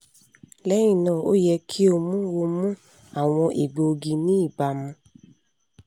lẹhinna o yẹ ki o mu o mu awọn egboogi ni ibamu